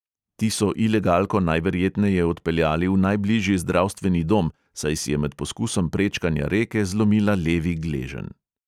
Ti so ilegalko najverjetneje odpeljali v najbližji zdravstveni dom, saj si je med poskusom prečkanja reke zlomila levi gleženj.